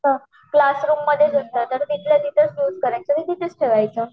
class room मध्ये जर असल तर तिथल्या तिथ यूस करायच आणि तिथेच ठेवायच